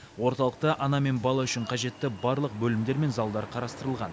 орталықта ана мен бала үшін қажетті барлық бөлімдер мен залдар қарастырылған